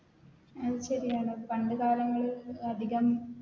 അത് ശരിയാണ് പണ്ട് കാലങ്ങളിൽ അതികം